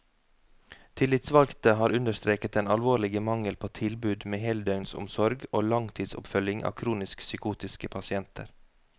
Tillitsvalgte har understreket den alvorlige mangel på tilbud med heldøgnsomsorg og langtidsoppfølging av kronisk psykotiske pasienter.